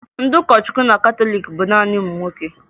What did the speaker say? Ndị ụkọchukwu na katọliiki bụ naanị ụmụ nwoke